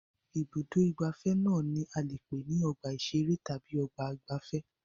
Ibùdó-ìgbafẹ́ náà ni a lè pè ní ọgbà-ìṣeré tàbí ọgbà-ìgbafẹ́.